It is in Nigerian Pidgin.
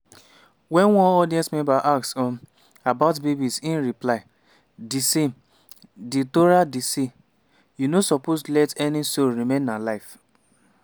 wen one audience member ask um about babies im reply: ”di same… di torah dey say: ‘you no suppose let any soul remain alive’…